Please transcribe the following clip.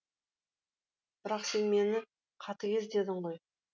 бірақ сен мені қатыгез дедің ғой